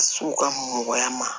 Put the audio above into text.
So ka mɔgɔya ma